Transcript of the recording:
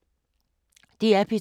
DR P2